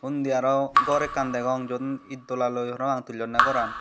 undi aro gor ekkan degong jiyun itdolaloi parapang tullonney goran.